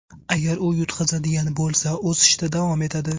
Agar u yutqazadigan bo‘lsa, o‘sishda davom etadi.